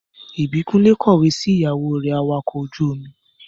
Ìbíkúnlé kọ̀wẹ́ sí ìyàwó rẹ̀ awakọ̀ ojú-omi